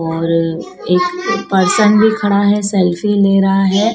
और एक पर्शन भी खड़ा है सेल्फी ले रहा है।